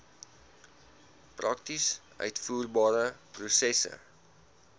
prakties uitvoerbare prosesse